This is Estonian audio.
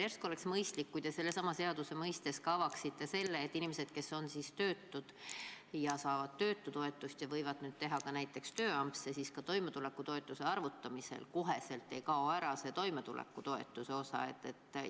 Järsku oleks mõistlik, kui te sellesama eelnõu puhul avaksite ka selle, et inimeste puhul, kes on töötud ja saavad töötutoetust ja võivad nüüd teha ka tööampse, ka toimetulekutoetuse arvutamisel kohe see toimetulekutoetuse osa ära ei kao.